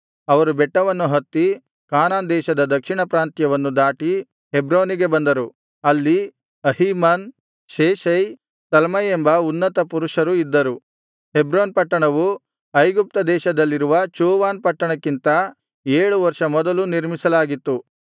ಅವರು ಬೆಟ್ಟವನ್ನು ಹತ್ತಿ ಕಾನಾನ್ ದೇಶದ ದಕ್ಷಿಣ ಪ್ರಾಂತ್ಯವನ್ನು ದಾಟಿ ಹೆಬ್ರೋನಿಗೆ ಬಂದರು ಅಲ್ಲಿ ಅಹೀಮನ್ ಶೇಷೈ ತಲ್ಮೈ ಎಂಬ ಉನ್ನತ ಪುರುಷರು ಇದ್ದರು ಹೆಬ್ರೋನ್ ಪಟ್ಟಣವು ಐಗುಪ್ತ ದೇಶದಲ್ಲಿರುವ ಚೋವನ್ ಪಟ್ಟಣಕ್ಕಿಂತ ಏಳು ವರ್ಷ ಮೊದಲು ನಿರ್ಮಿಸಲಾಗಿತ್ತು